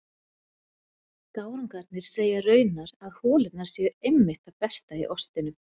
Gárungarnir segja raunar að holurnar séu einmitt það besta í ostinum.